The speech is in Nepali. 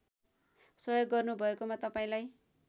सहयोग गर्नुभएकोमा तपाईँलाई